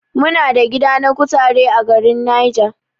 Muna da gida na kutare a garin Niger.